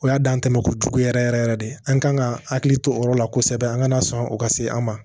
O y'a dan tɛ makojugu yɛrɛ yɛrɛ yɛrɛ de an kan ka hakili to o yɔrɔ la kosɛbɛ an kana sɔn o ka se an ma